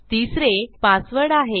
तिसरे पासवर्ड आहे